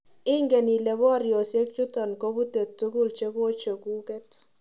Ingen ile boryosiek chuton kopute tukul chekochekuket